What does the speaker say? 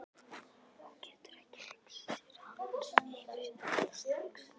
Hún getur ekki hugsað sér að hann heyri þetta strax.